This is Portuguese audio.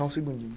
Só um segundinho.